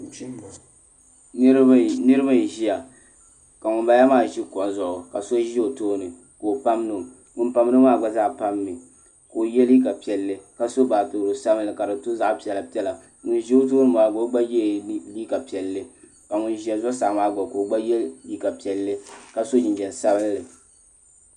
Niraba n ʒiya ka ŋunbala maa ʒi kuɣu zuɣu ka so ʒi o tooni ka o pamdo ŋun pamdo maa gba zaa pammi ka o yɛ liiga piɛlli ka so baatoro sabinli ka di to zaɣ piɛla piɛla ŋun ʒi o tooni maa gba o gba yɛla liiga piɛlli ka ŋun ʒɛ zuɣusaa maa gba ka o gba yɛ liiga piɛlli ka so jinjɛm sabinli